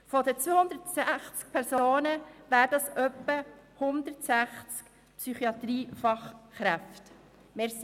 Von den 260 Personen wären etwa 160 Psychiatrie-Fachkräfte.